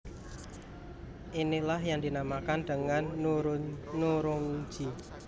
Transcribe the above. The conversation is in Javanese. Inilah yang dinamakan dengan nurungji